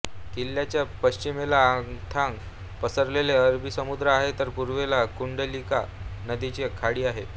किल्ल्याच्या पश्चिमेला अथांग पसरलेला अरबी समुद्र आहे तर पूर्वेला कुंडलिका नदीची खाडी आहे